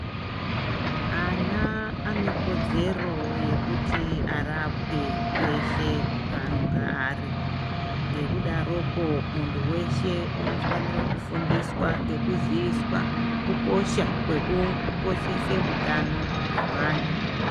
Ana ane kodzero yekuti arapwe peshe paanonga ari .Ngekudarokwo, muntu weshe unofanirwa kufundiswa ngekuziyiswa kukosha kwekukoshesa utano hwemwana.